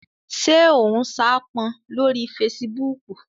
Ṣé o n saápọn lórí fesibúùkù?